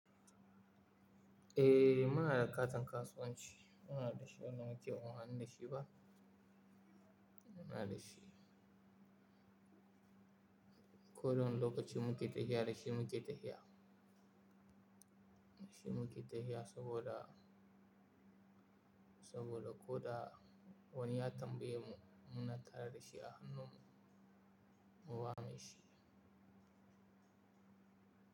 Eh, muna da katin kasuwanci. Muna da shi, wani lokaci mun haɗu da shi ba. Muna da shi. Ko wani lokaci muke tafiya da shi muke tafiya, da shi muke tafiya saboda, saboda ko da wani ya tambaye mu, muna tare da shi a hannunmu, muna da shi.